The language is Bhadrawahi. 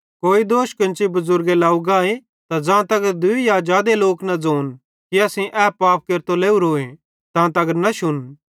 कोई दोष कोन्ची बुज़ुर्गे लव गाए त ज़ांतगर दूई या जादे लोक न ज़ोन कि असेईं ए पाप केरतो लावरोए तांतगर न शुन